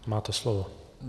Máte slovo.